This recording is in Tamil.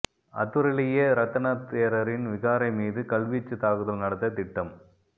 அத்துரலியே ரத்தன தேரரின் விகாரை மீது கல்வீச்சுத் தாக்குதல் நடத்த திட்டம்